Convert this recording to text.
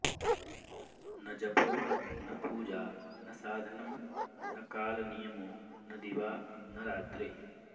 न जपो न पूजा न साधनं न कालनियमो न दिवा न रात्रिः